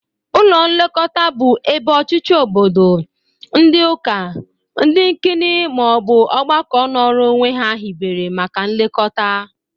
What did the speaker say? Ụlọ nlekọta bụ ebe ọchichi obodo, ndị ụka, ndị nkini ma ọ bụ ọgbakọ nọrọ onwe ha hibere maka nlekọta.